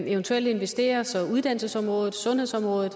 eventuelt investere så uddannelsesområdet sundhedsområdet